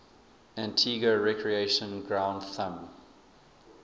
antigua recreation ground thumb